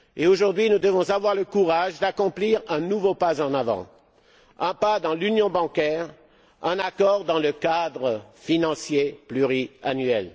Aujourd'hui, nous devons avoir le courage d'accomplir un nouveau pas en avant, un pas vers l'union bancaire, d'obtenir un accord sur le cadre financier pluriannuel.